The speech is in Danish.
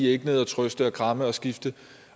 ikke nede og trøste og kramme og skifte